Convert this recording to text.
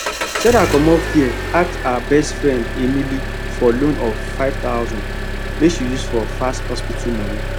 sarah commot fear ask her best friend emily for loan of 5000 make she use for fast hospital money